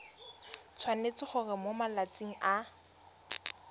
tshwanetse gore mo malatsing a